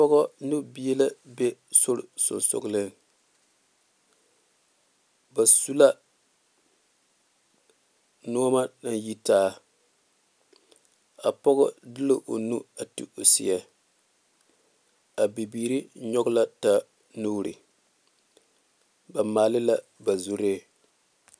Trɔkta la a are o taa la sampa o waa ŋa dakyepul ka o bonkɔɛ mine a be a o puoriŋ ka noba a are are a kaara kaŋa su la bondɔre.